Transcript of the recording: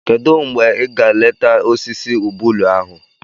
Kedụ mgbe ị ga-leeta osisi ubulu ahụ?